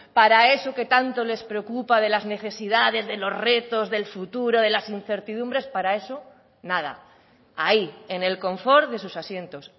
para eso que tanto les preocupa de las necesidades de los retos del futuro de las incertidumbres para eso nada ahí en el confort de sus asientos